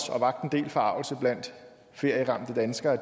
og vakte en del forargelse blandt ferieramte danskere